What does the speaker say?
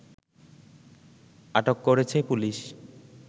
আটক করেছে পুলিশ